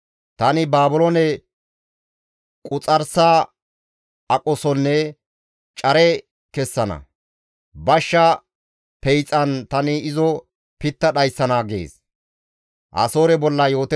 Tani Baabiloone quxarsa aqosonne care kessana; bashsha peyxan tani izo pitta dhayssana» gees.